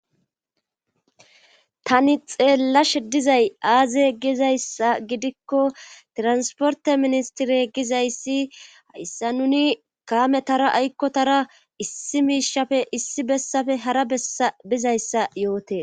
Tani xeellashe dizay aaze gizayssa gidikko transporte ministire gizayssi hayssa nuni kaame tara aykko tara issi miishafe issi bessafe hara eabizayssa yoote.